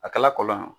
A kɛla kɔlɔn ye